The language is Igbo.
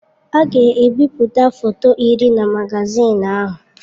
A ga-ebipụta foto iri na magazin ahụ.